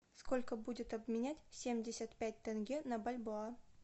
сколько будет обменять семьдесят пять тенге на бальбоа